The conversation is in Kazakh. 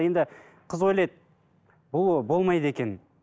енді қыз ойлайды бұл болмайды екен